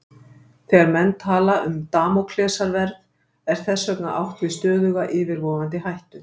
Þegar menn tala um Damóklesarsverð er þess vegna átt við stöðuga yfirvofandi hættu.